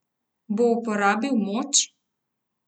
Bo uporabil moč?